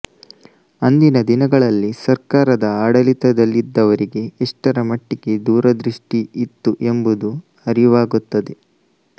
ಅಂದಿನ ದಿನಗಳಲ್ಲಿ ಸರ್ಕಾರದ ಆಡಳಿತದಲ್ಲಿದ್ದವರಿಗೆ ಎಷ್ಟರಮಟ್ಟಿಗೆ ದೂರದೃಷ್ಟಿ ಇತ್ತು ಎಂಬುದು ಅರಿವಾಗುತ್ತದೆ